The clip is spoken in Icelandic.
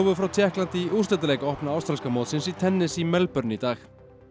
frá Tékklandi í úrslitaleik opna ástralska mótsins í tennis í Melbourne í dag